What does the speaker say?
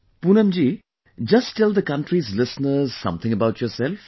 Poonamji, just tell the country's listeners something about yourself